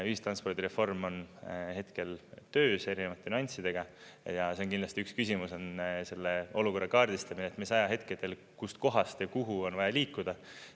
Ühistranspordireform on hetkel töös erinevate nüanssidega ja kindlasti üks küsimus on selle olukorra kaardistamine, mis ajahetkedel kust kohast ja kuhu on vaja liikuda.